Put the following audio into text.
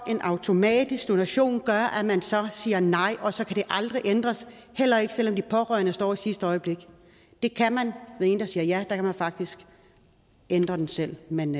at en automatisk donation gør at man så siger nej og så kan det aldrig ændres heller ikke selv om de pårørende står i sidste øjeblik det kan man ved en der siger ja der kan man faktisk ændre det selv men